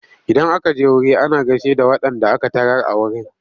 Idan aka je wuri ana gaishe da waɗanda aka tarar a wurin.